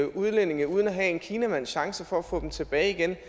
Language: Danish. udlændinge uden at have en kinamands chance for at få dem tilbage igen